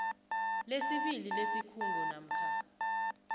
lesibili lesikhungo namkha